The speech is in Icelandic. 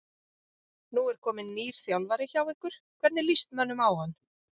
Nú er kominn nýr þjálfari hjá ykkur, hvernig líst mönnum á hann?